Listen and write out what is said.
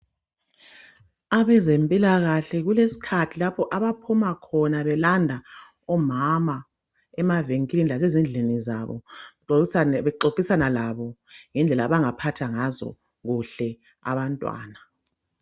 Abezempilakahle kukeskhathi lapho abaphuma khona belanda omama emavenkilini lasezindlini zabo bexoxisana labo ngedlela abangaphatha ngazokuhle abantwana